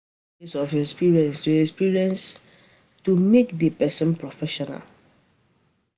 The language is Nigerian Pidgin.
E de take years of experience to experience to make di persin professional